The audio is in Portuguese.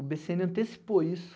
O bê cê ene antecipou isso.